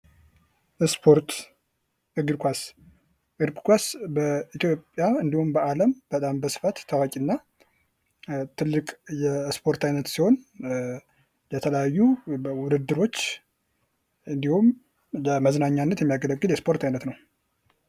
ስፖርት እግር ኳስ:- እግር ኳስ በኢትዮጵያ እንዲሁም በአለም በጣም በስፋት ታዋቂ እና ትልቅ የስፖርት አይነት ሲሆን የተለያዩ ዉድድሮች እንዲሁም ለመዝናኛነት የሚያገለግል ዉድድር ነዉ።